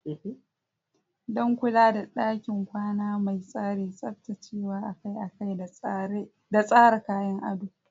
Don kula da ɗakin kwana mai tsari, tsaftacewa akai-akai da tsara kayan ado.